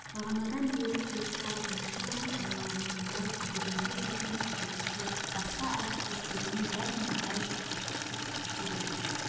бағанадан бер теріс қарап машинаның айналасында күйбеңдеп жүрген жүргізуші басқасы басқа әріптестерінен дәл мұндай жыртқыштықты күтпесе керек